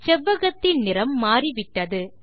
செவ்வகத்தின் நிறம் மாறிவிட்டது